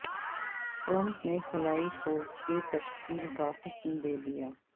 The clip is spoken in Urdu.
ٹرمپ نے خلائی فورس کی تشکیل کا حکم دیدیا